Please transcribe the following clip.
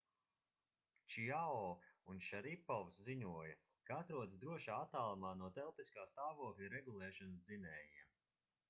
čiao un šaripovs ziņoja ka atrodas drošā attālumā no telpiskā stāvokļa regulēšanas dzinējiem